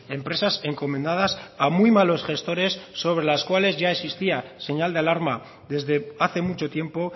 empresas encomendadas a muy malos gestores sobre las cuales ya existía señal de alarma desde hace mucho tiempo